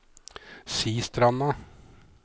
Sistranda